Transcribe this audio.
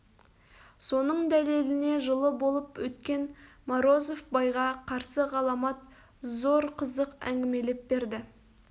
соның дәлеліне жылы болып өткен морозов байға қарсы ғаламат зор қызық әңгімелеп берді